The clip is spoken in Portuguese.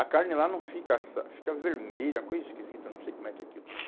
A carne lá não fica assa, fica vermelha, uma coisa esquisita, não sei como é que é aquilo.